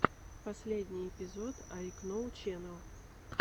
последний эпизод айкноу ченэл